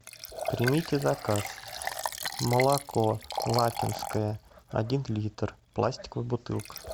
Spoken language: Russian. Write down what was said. примите заказ молоко лакинское один литр пластиковая бутылка